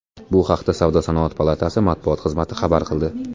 Bu haqda Savdo-sanoat palatasi matbuot xizmati xabar qildi.